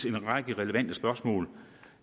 en række relevante spørgsmål